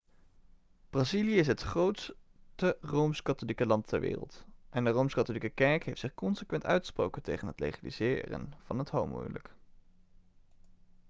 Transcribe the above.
brazilië is het grootste rooms-katholieke land ter wereld en de rooms-katholieke kerk heeft zich consequent uitgesproken tegen het legaliseren van het homohuwelijk